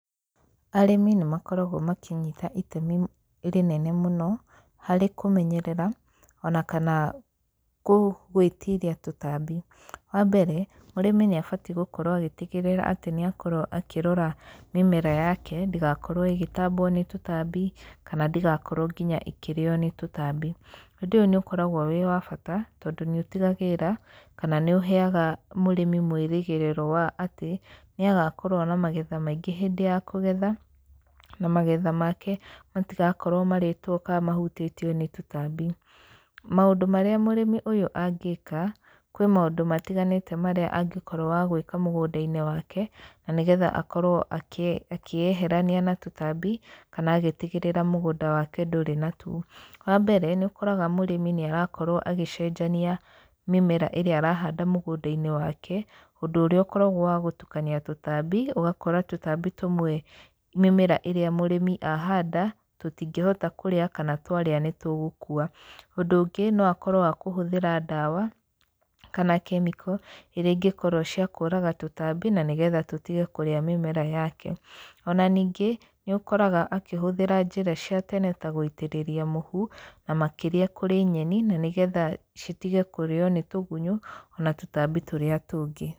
Arĩmi nĩ makoragwo makĩnyita itemi rĩnene mũno harĩ kũmenyerera ona kana lkũ gwĩtiria tũtambi. Wa mbere mũrimi nĩabatiĩ gũkorwo agĩtigĩrĩra atĩ nĩ akorwo akĩrora mĩmera yake, ndĩgakorwo ĩgĩtambwo nĩ tũtambi, kana ndĩgakorwo nginya ĩkĩrĩyo nĩ tũtambi. Ũndũ ũyũ nĩ ũkoragwo wĩwabata tondũ nĩ ũtigagĩrĩra kana nĩ ũheyaga mũrĩmi mwĩrĩgĩrĩro wa atĩ, nĩagakorwo na magetha maingĩ hĩndĩ ya kũgetha, na magetha make matigakorwo marĩtwo ka mahũtĩtio nĩ tũtambi. Maũndũ marĩa mũrĩmi ũyũ angĩka, kwĩ maũndũ matiganĩte marĩa angĩkorwo wagwĩka mũgũnda-inĩ wake, na nĩgetha akorwo akĩ akĩyeherania na tũtambi, kana agĩtigĩrĩra mũgũnda wake ndũrĩ natuo, wa mbere, nĩ ũkoraga mũrĩmi nĩ arakorwo agĩcenjania mĩmera ĩrĩa arahanda mũgũnda-inĩ wake, ũndũ ũrĩa ũkoragwo wa gũtukania tũtambi, ũgakora tũtambi tũmwe mĩmera ĩmwe ĩrĩa mũrĩmi ahanda, tũtingĩhota kũrĩa, kana twaria nĩ tũgũkua. Ũndũ ũngĩ no akorwo wa kũhũthĩra ndawa, kana kemiko iria ingĩkorwo cia kũraga tũtambi, na nĩgetha tũtige kũria mĩmera yake, ona ningĩ nĩ ũkoraga akĩhũthĩra njĩra cia tene ta gũitĩrĩria mũhu, na makĩria kũrĩ nyeni na nĩgetha citige kũrĩyo nĩ tũgunyũ, ona tũtambi tũrĩa tũngĩ.